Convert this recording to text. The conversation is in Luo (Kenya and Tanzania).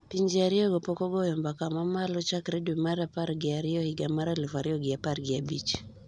Pinje ariyogo pok ogoyo mbaka mamalo chakre dwe mar apar gi ariyo higa mar aluf ariyo gi apar gi abich